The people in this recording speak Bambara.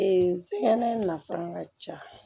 Ee sigɛn nafan ka ca